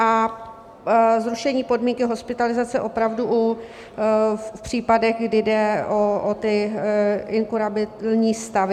A zrušení podmínky hospitalizace opravdu v případech, kdy jde o ty inkurabilní stavy.